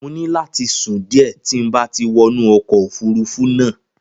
Mo ní láti sùn díẹ̀ tí n bá ti wọnú ọkọ̀ òfurufú náà.